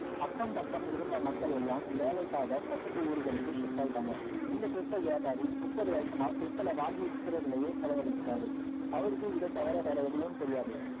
அக்கம் பக்கம் இருந்த மக்களெல்லாம் வேலைக்காக பக்கத்து ஊர்களுக்கு shift ஆகிட்டாங்க இந்த stal வியாபாரி முப்பது வருஷமா stal அ வாங்கி விற்கிறதுலேயே செலவழிச்சிட்டாரு அவருக்கு இதை தவிர வேற எதுவும் தெரியாது